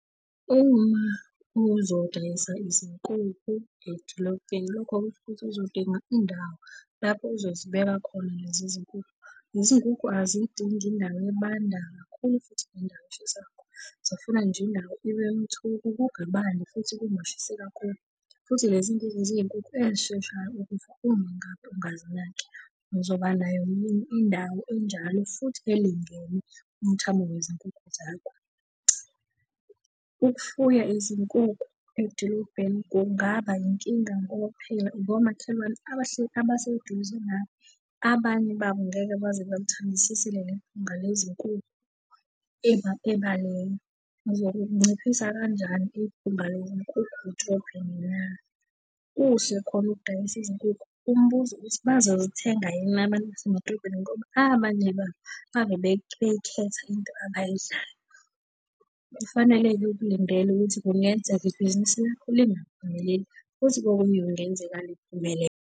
Uma uzodayisa izinkukhu edolobheni lokho kusho ukuthi uzodinga indawo lapho uzozibeka khona lezi zinkukhu. Izinkukhu azidingi indawo ebanda kakhulu futhi nendawo eshisa kakhulu, zifuna nje indawo ibe mthuku, kungabandi futhi kungashisi kakhulu. Futhi lezi nkukhu ziyinkukhu ey'sheshayo ukufa, uma ngabe ungazinaki. Ngizoba nayo yini indawo enjalo futhi elingene umthamo wezinkukhu zakho? Ukufuya izinkukhu edolobheni kungaba yinkinga ngoba phela unomakhelwane abahleli abaseduze, nawe. Abanye babo ngeke baze balithandisise leli phunga lezinkukhu ebaleni. Ngizokunciphisa kanjani iphunga lezinkukhu edrobheni na? Kuhle khona ukudayisa izinkukhu, umbuzo uthi bazozithenga yini abantu basemadrobheni ngoba abanye babo hhave beyikhetha into abayidlayo. Kufanele-ke ukulindela ukuthi kungenzeka ibhizinisi lakho lingaphumeleli, futhi kokunye kungenzeka liphumelele,